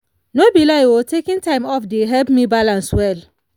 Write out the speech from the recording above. no be lie o taking time off dey help me balance well.